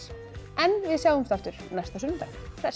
við sjáumst aftur næsta sunnudag hress